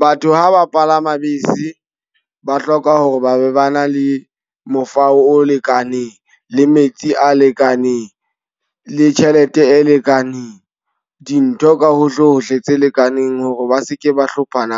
Batho ha ba palama bese, ba hloka hore ba be ba na le mofao o lekaneng, le metsi a lekaneng, le tjhelete e lekaneng. Dintho ka ho hlohle tse lekaneng hore ba seke ba hlomphana